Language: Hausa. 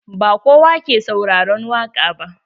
Ba kowa ke sauraron waƙa ba.